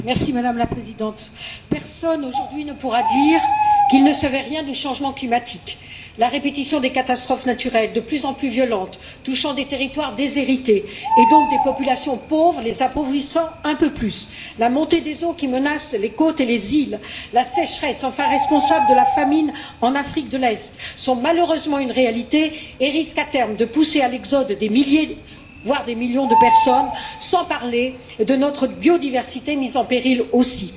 Madame la Présidente, personne aujourd'hui ne pourra dire qu'il ne savait rien du changement climatique la répétition des catastrophes naturelles, de plus en plus violentes, touchant des territoires déshérités et donc des populations pauvres, en les appauvrissant un peu plus, la montée des eaux, qui menace les côtes et les îles, la sécheresse enfin, responsable de la famine en Afrique de l'Est, sont malheureusement une réalité et risquent à terme de pousser à l'exode des milliers, voire des millions de personnes, sans parler de notre biodiversité, mise en péril aussi.